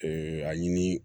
a ɲini